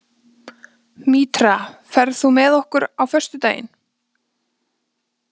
Mítra, ferð þú með okkur á föstudaginn?